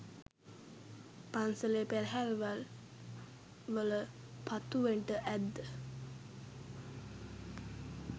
පන්සලේ පෙරහැරවල් වල පත්තුවෙන්ඩ ඇද්ද?